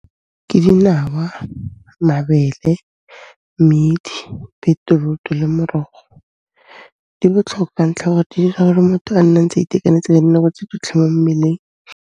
Ke dinawa, mabele, mmedi, beterutu le morogo. Di botlhokwa ka ntlha ore di 'ira gore motho a nne a ntse a itekanetse ka dinako tso tsotlhe mo mmeleng.